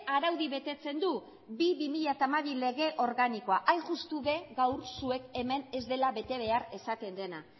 araudi betetzen du bi barra bi mila hamabi lege organikoa hain justu be gaur zuek hemen ez dela bete behar esaten dena